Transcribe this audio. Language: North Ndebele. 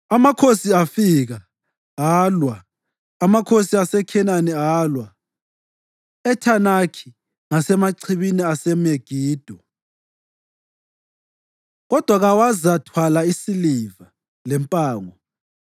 Amakhosi afika, alwa; amakhosi aseKhenani alwa, eThanakhi ngasemachibini aseMegido, kodwa kawazathwala isiliva, lempango.